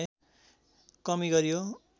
कमी गरियो